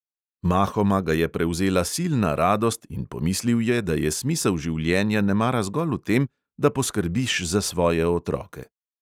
Mahoma ga je prevzela silna radost in pomislil je, da je smisel življenja nemara zgolj v tem, da poskrbiš za svoje otroke.